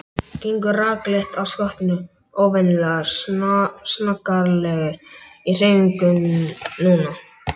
Gengur rakleitt að skottinu, óvenjulega snaggaralegur í hreyfingum núna.